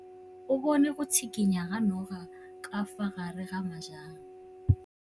O bone go tshikinya ga noga ka fa gare ga majang.